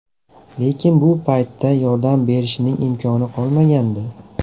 Lekin bu paytda yordam berishning imkoni qolmagandi.